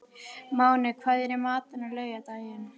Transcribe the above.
Máney, hvað er í matinn á laugardaginn?